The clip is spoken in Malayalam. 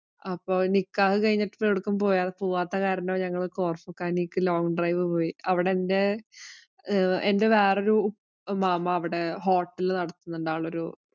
അപ്പൊ നിക്കാഹ് കഴിഞ്ഞപ്പോ എവിടേക്കും പോവാത്ത കാരണം ഞങ്ങള് കോര്‍ഫിഖാനിലേക്ക് long drive പോയി. അവിടെ എന്‍റെ വേറൊരു മാമാ അവിടെ hotel നടത്തുന്നുണ്ട്. ആളൊരു